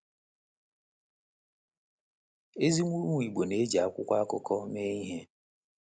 Ezi umu-Igbo na-eji akwụkwọ akụkọ mee ihe?